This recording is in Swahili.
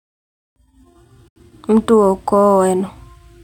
Mtuo wa ukoo wenu.